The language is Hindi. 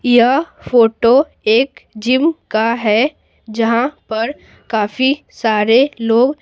यह फोटो एक जिम का है जहां पर काफी सारे लोग--